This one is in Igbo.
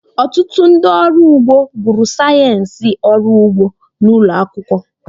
Ọtụtụ ndị ọrụ ugbo gụrụ sayensị ọrụ ugbo n'ụlọ akwụkwọ